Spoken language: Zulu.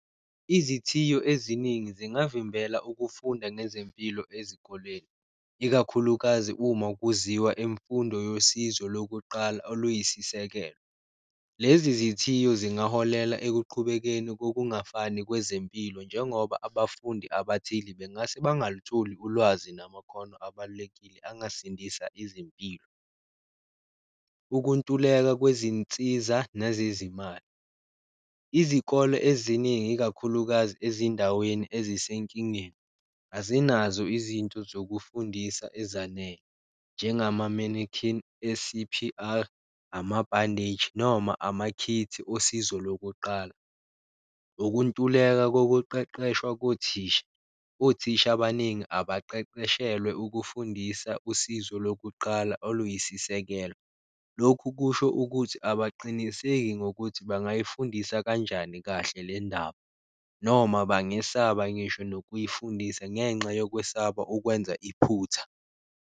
Izithiyo eziningi zingavimbela ukufunda ngezempilo ezikoleni, ikakhulukazi uma kuziwa imfundo yosizo lokuqala oluyisisekelo. Lezi zithiyo zingaholela ekuqhubekeni ngokungafani kwezempilo, njengoba abafundi abathile bengase bangalutholi ulwazi namakhono abalulekile angasindisa izimpilo. Ukuntuleka kwezinsiza nezezimali, izikole eziningi ikakhulukazi ezindaweni ezisenkingeni azinazo izinto zokufundisa ezanele njengama-mannequin, e-C_P_R, ama-bandage noma amakhikhi osizo lokuqala. Ukuntuleka kokuqeqeshwa kothisha, othisha abaningi abaqeqeshelwe ukufundisa usizo lokuqala oluyisisekelo, lokhu kusho ukuthi abaqiniseki ngokuthi bangayifundisa kanjani kahle le ndaba, noma bangesaba ngisho nokuyifundisa ngenxa yokwesaba ukwenza iphutha.